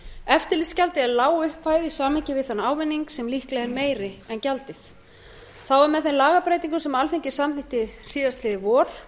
eftirlitsgjaldið er lág upphæð í samhengi við þann ávinning sem líklega er meiri en gjaldið þá er með þeim lagabreytingum sem alþingi samþykkti síðastliðið vor